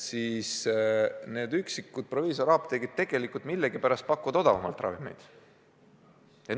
Need üksikud proviisoriapteegid millegipärast pakuvad ravimeid odavamalt.